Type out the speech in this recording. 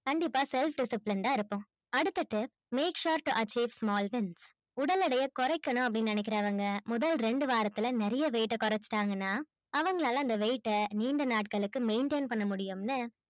and இப்ப லாம் self disciplined ஆ இருக்கும் அடுத்தது make sure to achieve small உடல் இடையை குறைக்கணு அப்பிடின்னு நெனைக்குரவங்க முதல் ரெண்டு வாரத்துல நிறை weight அ குரசிட்டாங்க னா அவங்களால அந்த weight அ நீண்ட நாட்களுக்கு maintain பண்ண முடியும்